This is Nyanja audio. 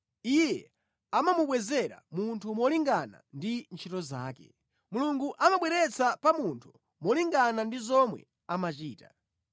Iye amamubwezera munthu molingana ndi ntchito zake; Mulungu amabweretsa pa munthu molingana ndi zomwe amachita.